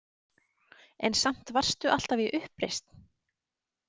En samt varstu alltaf í uppreisn?